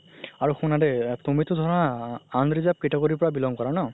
আৰু শুনা দেই তুমিতো ধৰা unreserved category ৰ পা belong কৰা ন